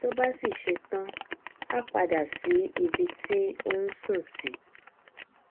tó bá sì ṣe tán á padà sí ibi tí ó nsùn sí